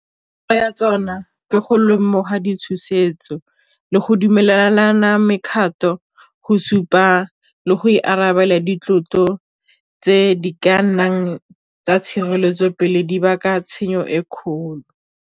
Ya tsona ke go lemoga di tshosetso le go dumelana mekgatlo go supa le go ikarabela di tlotlo tse di ka nnang tsa tshireletso pele di tshenyo e kgolo.